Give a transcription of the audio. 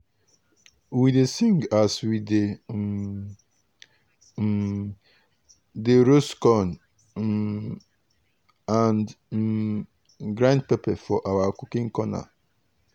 we dey sing as we um um dey roast corn um and um grind pepper for our cooking corner.